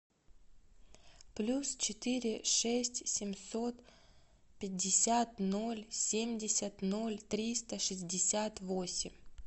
плюс четыре шесть семьсот пятьдесят ноль семьдесят ноль триста шестьдесят восемь